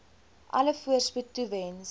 alle voorspoed toewens